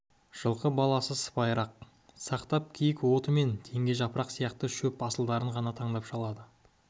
жылқы баласы сыпайылық сақтап киік оты мен теңге жапырақ сияқты шөп асылдарын ғана таңдап шалады